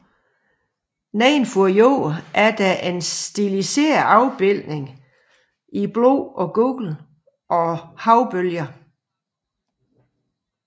Nedenfor jorden er der en stiliseret afbildning i blå og gul af havbølger